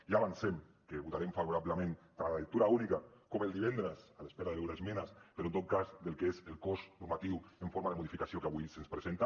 ja avancem que votarem favorablement tant a la lectura única com el divendres a l’espera de veure esmenes però en tot cas al que és el cos normatiu en forma de modificació que avui se’ns presenta